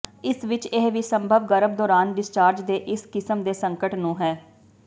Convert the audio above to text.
ਇਸ ਵਿਚ ਇਹ ਵੀ ਸੰਭਵ ਗਰਭ ਦੌਰਾਨ ਡਿਸਚਾਰਜ ਦੇ ਇਸ ਕਿਸਮ ਦੇ ਸੰਕਟ ਨੂੰ ਹੈ